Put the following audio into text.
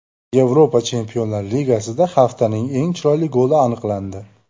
Yevropa Chempionlar Ligasida haftaning eng chiroyli goli aniqlandi .